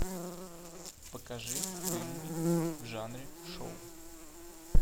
покажи фильмы в жанре шоу